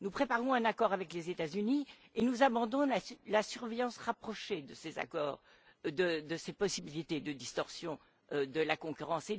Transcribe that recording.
Nous préparons un accord avec les États Unis et nous abandonnons la surveillance rapprochée de ces accords, de ces possibilités de distorsions de la concurrence.